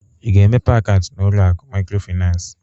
I ga-emepe akaụntụ n'ụlọ akụ Maịkrofịnansị?